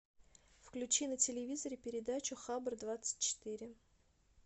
включи на телевизоре передачу хабар двадцать четыре